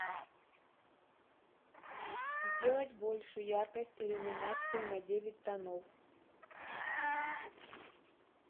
сделать больше яркость иллюминации на девять тонов